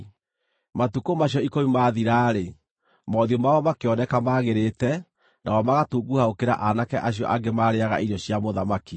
Matukũ macio ikũmi maathira-rĩ, mothiũ mao makĩoneka maagĩrĩte, nao magatunguha gũkĩra aanake acio angĩ maarĩĩaga irio cia mũthamaki.